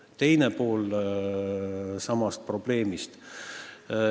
Ja teine pool samast probleemist.